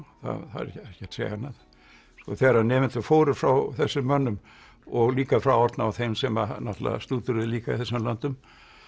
það er ekki hægt að segja annað þegar nemendur fóru frá þessum mönnum og líka frá Árna og þeim sem náttúrulega stúderuðu líka í þessum löndum